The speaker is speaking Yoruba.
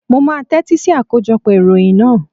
Mo máa tẹ́tí sí akójọpọ̀ ìròyìn náà.